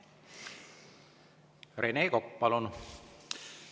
Rene Kokk, palun!